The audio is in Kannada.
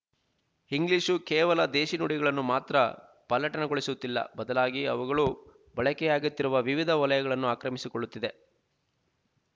ಇಂಗ್ಲೀಷು ಕೇವಲ ದೇಶಿ ನುಡಿಗಳನ್ನು ಮಾತ್ರ ಪಲ್ಲಟನಗೊಳಿಸುತ್ತಿಲ್ಲ ಬದಲಾಗಿ ಅವುಗಳು ಬಳಕೆಯಾಗುತ್ತಿರುವ ವಿವಿಧ ವಲಯಗಳನ್ನೂ ಆಕ್ರಮಿಸಿಕೊಳ್ಳುತ್ತಿದೆ